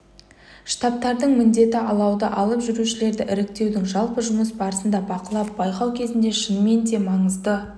штабтардың міндеті алауды алып жүрушілерді іріктеудің жалпы жұмыс барысын бақылап байқау кезінде шынымен де маңызды